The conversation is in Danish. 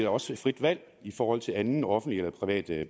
også frit valg i forhold til andet offentligt eller privat